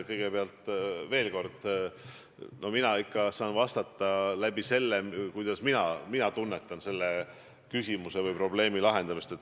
Kõigepealt veel kord: mina saan vastata vastavalt sellele, kuidas mina tunnetan selle probleemi lahendamist.